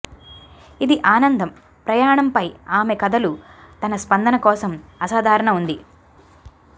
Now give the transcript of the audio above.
ఇది ఆనందం ప్రయాణంపై ఆమె కథలు తన స్పందన కోసం అసాధారణ ఉంది